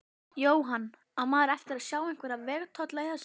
Jóhann: Á maður eftir sjá einhverja vegatolla í þessu?